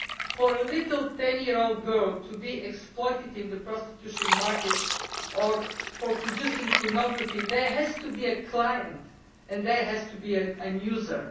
For a little 10 year old girl to be exploited in the prostitution market or for producing pornography, there has to be a client and there has to be a user.